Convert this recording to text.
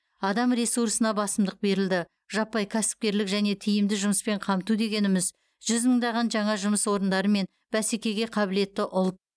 адам ресурсына басымдық берілді жаппай кәсіпкерлік және тиімді жұмыспен қамту дегеніміз жүз мыңдаған жаңа жұмыс орындары мен бәсекеге қабілетті ұлт